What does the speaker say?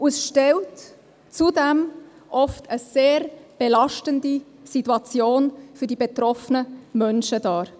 Es stellt zudem oft eine sehr belastende Situation für die betroffenen Menschen dar.